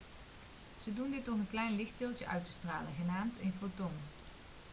ze doen dit door een klein lichtdeeltje uit te stralen genaamd een foton'